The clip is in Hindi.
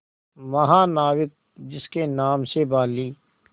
महानाविक जिसके नाम से बाली